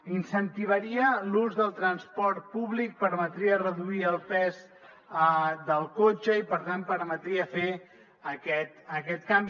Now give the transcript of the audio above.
incentivaria l’ús del transport públic permetria reduir el pes del cotxe i per tant permetria fer aquest canvi